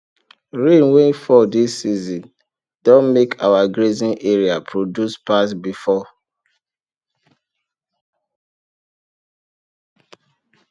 rain wey fall this season don make our grazing area produce pass before